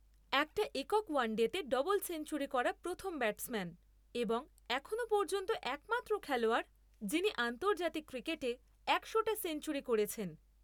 একটা একক ওয়ানডেতে ডবল সেঞ্চুরি করা প্রথম ব্যাটসম্যান এবং এখনও পর্যন্ত একমাত্র খেলোয়াড় যিনি আন্তর্জাতিক ক্রিকেটে একশোটা সেঞ্চুরি করেছেন।